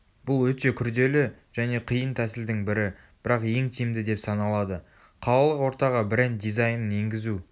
бұл өте күрделі және қиын тәсілдің бірі бірақ ең тиімді деп саналады қалалық ортаға бренд дизайнын енгізу